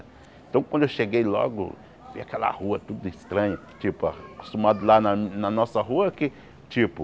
Então quando eu cheguei logo, vi aquela rua tudo estranha, tipo, acostumado lá na na nossa rua que, tipo,